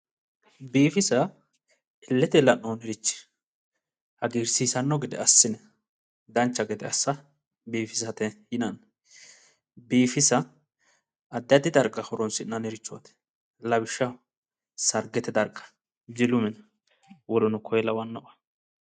Biifisa illetenni la'noonnirichi hagiirsiissanno gede assine, dancha gede assa biifisate yinanni, biifisa addi addi darga horonsi'nannirichooti lawishshaho, sargete darga, jilu mine woluno koye lawannoho.